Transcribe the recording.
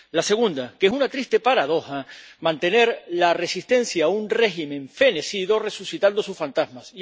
La segunda, que es una triste paradoja mantener la resistencia a un régimen fenecido resucitando sus fantasmas.